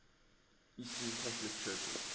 eastern catholic churches